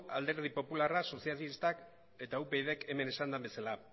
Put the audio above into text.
alderdi popularrak sozialistak eta upyd k hemen esan den bezala